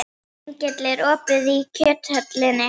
Engill, er opið í Kjöthöllinni?